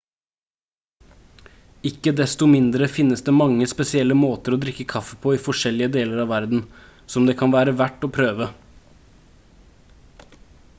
ikke desto mindre finnes det mange spesielle måter å drikke kaffe på i forskjellige deler av verden som det kan være verdt å prøve